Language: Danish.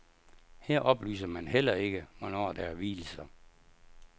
Her oplyser man heller ikke, hvornår der er vielser.